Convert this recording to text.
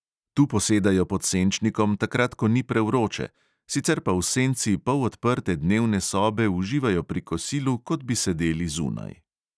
Tu posedajo pod senčnikom takrat, ko ni prevroče, sicer pa v senci polodprte dnevne sobe uživajo pri kosilu, kot bi sedeli zunaj.